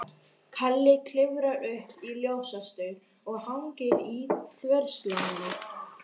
Kalli klifrar upp í ljósastaur og hangir í þverslánni.